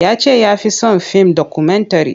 Ya ce ya fi son fim dokumentare.